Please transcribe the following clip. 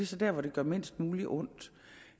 så der hvor det gør mindst muligt ondt